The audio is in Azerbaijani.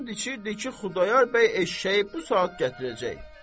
And içirdi ki, Xudayar bəy eşşəyi bu saat gətirəcək.